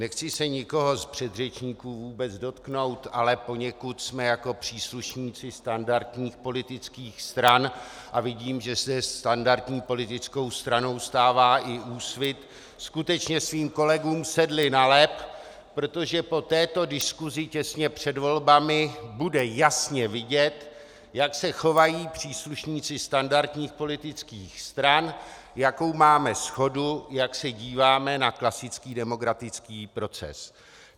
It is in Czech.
Nechci se nikoho z předřečníků vůbec dotknout, ale poněkud jsme jako příslušníci standardních politických stran, a vidím, že se standardní politickou stranou stává i Úsvit, skutečně svým kolegům sedli na lep, protože po této diskusi těstě před volbami bude jasně vidět, jak se chovají příslušníci standardních politických stran, jakou máme shodu, jak se díváme na klasický demokratický proces.